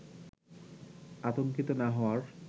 আতঙ্কিত না হওয়ার